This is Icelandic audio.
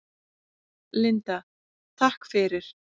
Linda: Takk fyrir.